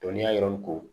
Dɔnniyaw ko